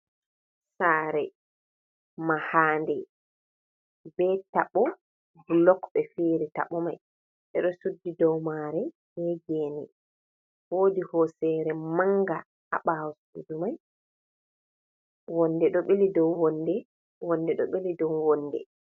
Sare mahanɗe ɓe taɓo. Bulok ɓe fiyiri taɓomai. Ɓe ɗo suɗɗi ɗow mare ɓe gene. Woɗi hosere manga ha ɓawo suɗu mai. Wonɗe ɗo ɓeli ɗow wonɗe, wonɗe ɗo ɓeli ɗow wonɗe.